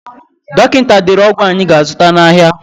Dọkịta dere ọgwụ anyị ga-azụta n'ahịa.